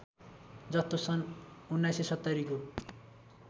जस्तो सन् १९७० को